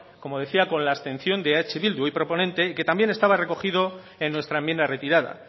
como decía con la abstención de eh bildu hoy proponente y que también estaba recogido en nuestra enmienda retirada